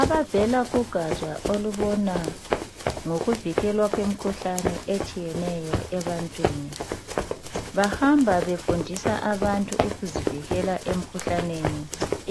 Abavela kugatsha olubona ngokuvikelwa kwemikhuhlane etshiyeneyo ebantwini bahamba befundisa abantu ukuzivikela emikhuhlaneni